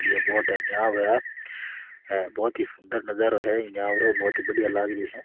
ये बोट है नाव है बहोत ही सुन्दर नजरो है ई नाव रो बहोत ही सुन्दर लाग रही है।